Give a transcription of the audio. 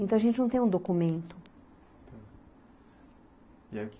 Então, a gente não tem um documento.